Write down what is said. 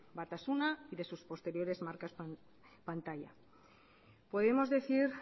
batasuna y de sus posteriores marcas podemos decir